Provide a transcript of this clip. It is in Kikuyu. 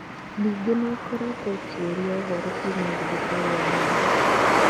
Ningĩ nĩ ĩkoretwo ĩkĩũria ũhoro kuuma thibitarĩ ya Nairobi.